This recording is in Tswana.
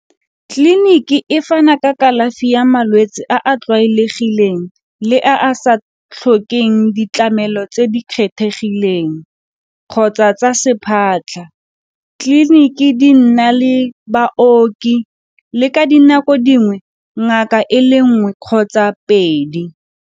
Tleliniki e fana ka kalafi ya malwetse a a tlwaelegileng le a a sa tlhokeng ditlamelo tse di kgethegileng kgotsa tsa tleliniki di nna le baoki le ka dinako dingwe ngaka e le nngwe kgotsa pedi.